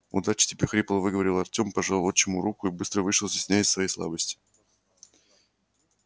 удачи тебе хрипло выговорил артём пожал отчиму руку и быстро вышел стесняясь своей слабости